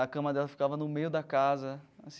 a cama dela ficava no meio da casa